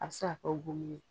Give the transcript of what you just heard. A bi se ka kɛ gomin ye.